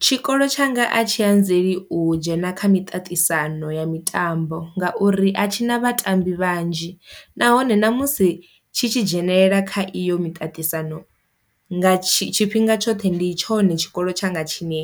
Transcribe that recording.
Tshikolo tshanga a tshi anzeli u dzhena kha miṱaṱisano ya mitambo ngauri a tshi na vhatambi vhanzhi, nahone ṋamusi tshi tshi dzhenelela kha iyo miṱaṱisano nga tshi tshifhinga tshoṱhe ndi tshone tshikolo tshanga tshine